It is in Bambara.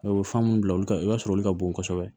O ye fan munnu bila olu ka i b'a sɔrɔ olu ka bon kosɛbɛ